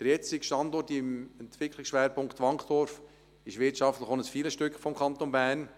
Der jetzige Standort im ESP Wankdorf ist zudem wirtschaftlich ein Filetstück des Kantons Bern.